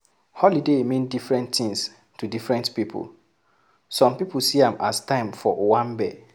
Holiday mean different things to different pipo, some pipo see am as time for owambe